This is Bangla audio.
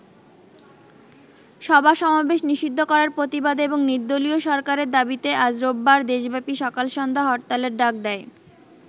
সভা-সমাবেশ নিষিদ্ধ করার প্রতিবাদে এবং নির্দলীয় সরকারের দাবিতে আজ রোববার দেশব্যাপী সকাল সন্ধ্যা হরতালের ডাক দেয়।